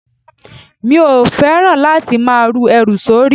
Mi ò fẹ́ràn láti máa ru ẹrù sórí.